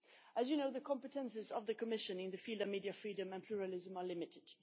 As you know, the competences of the Commission in the field of media freedom and pluralism are limited.